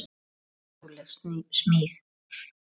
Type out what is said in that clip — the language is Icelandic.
Ótrúleg smíð.